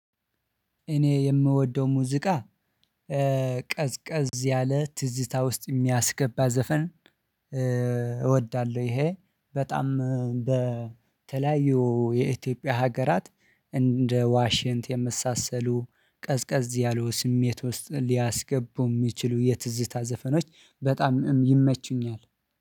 እኔ የምወደው ሙዚቃ ቀዝቀዝ ያለ ትዝታ ውስጥ የሚያስገባ ዘፈን እወዳለሁ። ይሄ በጣም በተለያዩ የኢትዮጵያ ሀገራት እንደ ዋሽንት የመሳሰሉ ቀዝቀዝ ያሉ ስሜት ውስጥ ሊያስገቡ እሚችሉ የትዝታ ዘፈኖች በጣም ይመቹኛል